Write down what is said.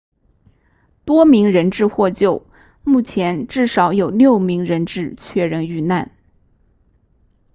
多名人质获救目前至少有六名人质确认遇难